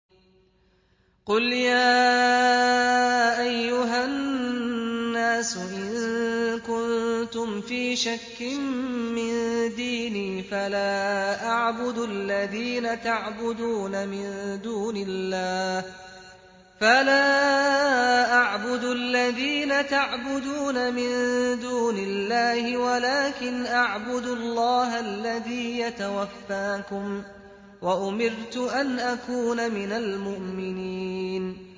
قُلْ يَا أَيُّهَا النَّاسُ إِن كُنتُمْ فِي شَكٍّ مِّن دِينِي فَلَا أَعْبُدُ الَّذِينَ تَعْبُدُونَ مِن دُونِ اللَّهِ وَلَٰكِنْ أَعْبُدُ اللَّهَ الَّذِي يَتَوَفَّاكُمْ ۖ وَأُمِرْتُ أَنْ أَكُونَ مِنَ الْمُؤْمِنِينَ